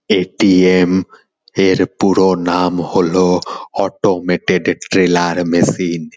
এ . T . M -এর পুরো নাম হলো অটোমেটেড ট্রেলার মেশিন ।